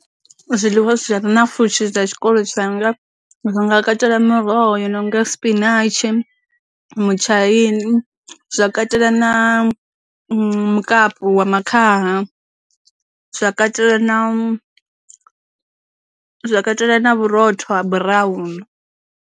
Zwiḽiwa zwi re na pfhushi dza tshikolo tshanga nga katela miroho i nonga spinach, mutshaini, zwa katela na mukapi wa makhaha, zwa katela na zwa katela na vhurotho ha brown.